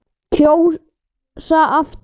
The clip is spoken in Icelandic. Kjósa aftur.